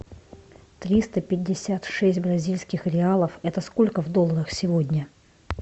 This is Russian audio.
триста пятьдесят шесть бразильских реалов это сколько в долларах сегодня